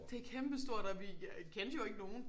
Det kæmpe stort og vi jeg kendte jo ikke nogen